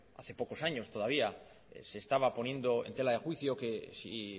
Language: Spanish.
hace pocos años todavía se estaba poniendo en tela de juicio que si